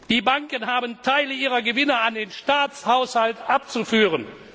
Die Banken haben Teile ihrer Gewinne an den Staatshaushalt abzuführen.